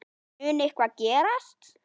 Mun eitthvað gerast?